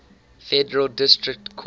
federal district courts